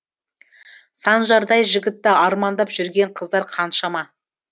санжардай жігітті армандап жүрген қыздар қаншама